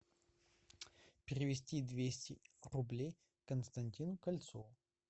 перевести двести рублей константину кольцову